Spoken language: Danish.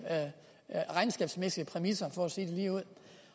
regnskabsmæssige præmisser for at sige det lige ud